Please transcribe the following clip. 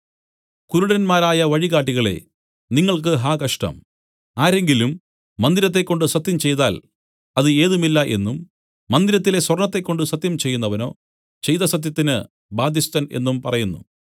കുരുടന്മാരായ വഴികാട്ടികളേ നിങ്ങൾക്ക് ഹാ കഷ്ടം ആരെങ്കിലും മന്ദിരത്തെക്കൊണ്ട് സത്യം ചെയ്താൽ അത് ഏതുമില്ല എന്നും മന്ദിരത്തിലെ സ്വർണ്ണത്തെക്കൊണ്ട് സത്യം ചെയ്യുന്നവനോ ചെയ്ത സത്യത്തിന് ബാധ്യസ്ഥൻ എന്നും പറയുന്നു